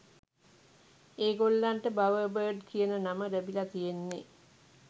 ඒගොල්ලන්ට "බවර්බර්ඩ්" කියන නම ලැබිල තියෙන්නෙ